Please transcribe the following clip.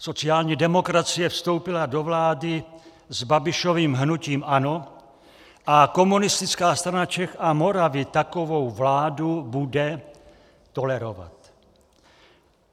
Sociální demokracie vstoupila do vlády s Babišovým hnutím ANO a Komunistická strana Čech a Moravy takovou vládu bude tolerovat.